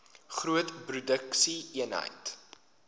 groot produksie eenhede